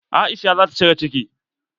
Aisha zata cire ciki.